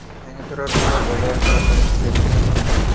Yangi turar uylar bozorida raqobat kuchaymoqda.